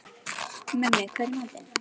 Mummi, hvað er í matinn?